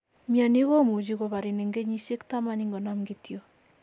Mioni komuche koparin en kenyisiek taman ingonam kityok.